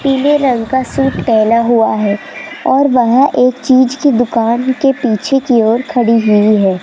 पीले रंग का सूट पहना हुआ है और वह एक चीज की दुकान के पीछे की ओर खड़ी हुई है।